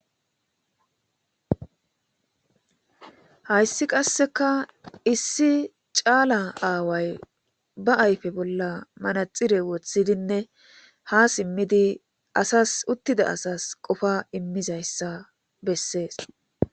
Hayissi qassekka issi calla aawayi ba ayife bolla manaxire wothidinne ha simidi assasi utidda assasi qofa imizayissa bessesi